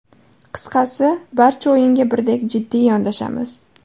Qisqasi, barcha o‘yinga birdek jiddiy yondashamiz.